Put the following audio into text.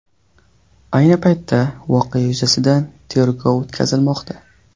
Ayni paytda voqea yuzasidan tergov o‘tkazilmoqda.